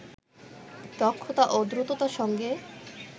দক্ষতা ও দ্রুততার সঙ্গে